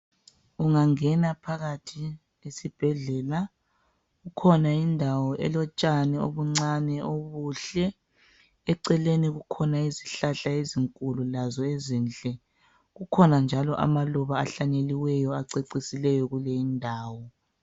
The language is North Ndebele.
Ungangena phakathi esibhedlela kukhona indawo elotshani obuncane obuhle eceleni kukhona izihlahla ezinkulu lazo ezinhle kukhona njalo amaluba ahlanyeliweyo acecisileyo kuyilendawo.